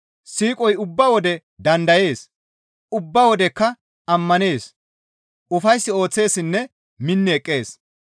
Siiqoy ubba wode dandayees; ubba wodekka ammanees; ufays ooththeessinne minni eqqees.